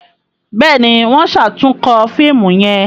Béèni wón ṣatunkọ fíìmù yén.